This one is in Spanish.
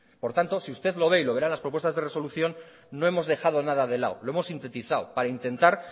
por lo tanto si usted lo ve y lo verá en las propuestas de resolución no hemos dejado nada de lado lo hemos sintetizado para intentar